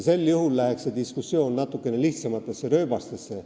Siis aga läheks diskussioon natukene lihtsamatesse rööbastesse.